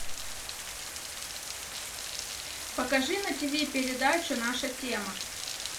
покажи на тиви передачу наша тема